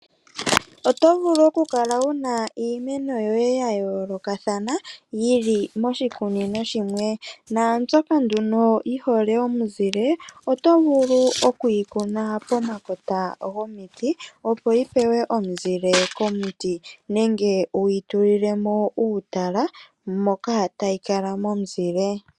Oto vulu oku kala wuna iimeno yoye ya yoolokothana yili moshikunino shimwe. Mbyoka yi hole omunzile oto vulu okuyi kuna pokamakota gomiti nenge wuyi tulilemo uutala moka tayi kala momunzile.